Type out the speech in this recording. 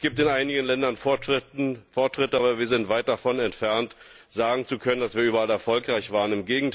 Es gibt in einigen Ländern Fortschritte, aber wir sind weit davon entfernt, sagen zu können, dass wir überall erfolgreich waren.